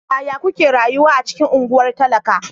Yaya kuke rayuwa a cikin unguwar talaka?